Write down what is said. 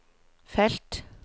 felt